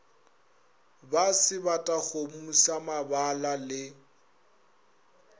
ba sebatakgomo sa mabala le